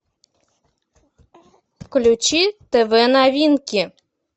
включи тв новинки